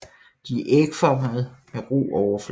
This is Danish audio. De er ægformede med ru overflade